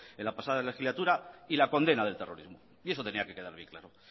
en la pasada legislatura y la condena del terrorismo y eso tenía que quedar bien claro